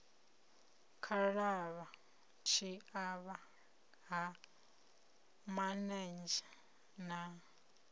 khalavha tshiavha ha manenzhe na